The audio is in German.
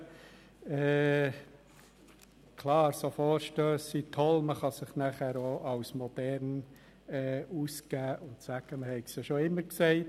Man kann sich damit auch als modern ausgeben und sagen, man habe es ja schon immer gesagt.